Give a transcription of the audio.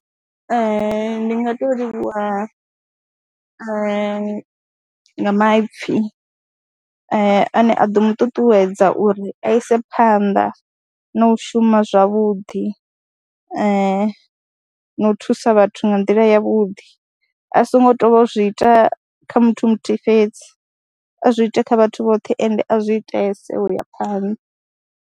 Ee, ndi nga tou livhuwa nga maipfhi ane a ḓo mu ṱuṱuwedza uri a ise phanḓa na u shuma zwavhuḓi na u thusa vhathu nga nḓila yavhuḓi a songo tou vha zwi ita kha muthu muthihi fhedzi a zwi ite kha vhathu vhoṱhe ende a zwi itese u ya phanḓa.